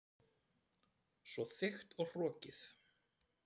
Svo þykkt og hrokkið.